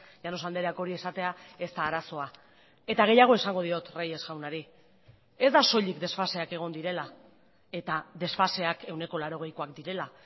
llanos andreak hori esatea ez da arazoa eta gehiago esango diot reyes jaunari ez da soilik desfaseak egon direla eta desfaseak ehuneko laurogeikoak direla